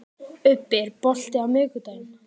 Ubbi, er bolti á miðvikudaginn?